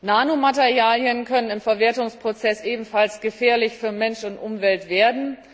Nanomaterialien können im Verwertungsprozess ebenfalls gefährlich für Mensch und Umwelt werden.